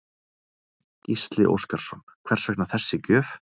Gísli Óskarsson: Hvers vegna þessi gjöf?